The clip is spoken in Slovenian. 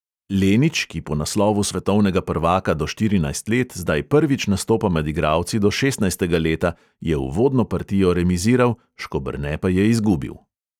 Lenič, ki po naslovu svetovnega prvaka do štirinajst let, zdaj prvič nastopa med igralci do šestnajstega leta, je uvodno partijo remiziral, škoberne pa je izgubil.